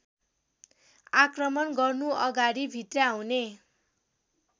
आक्रमण गर्नुअगाडि भित्र्याउने